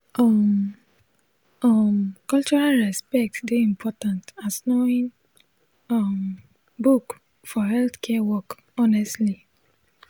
um um cultural respect dey important as knowing um book for healthcare work honestly